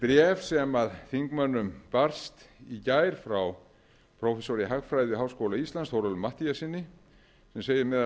bréf sem þingmönnum barst í gær frá prófessor í hagfræði við háskóla íslands þórólfi matthíassyni sem segir meðal